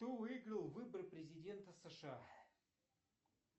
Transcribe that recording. кто выиграл выборы президента сша